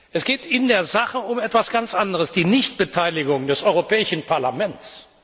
Es geht in der Sache um etwas ganz anderes die Nichtbeteiligung des Europäischen Parlaments.